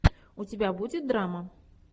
у тебя будет драма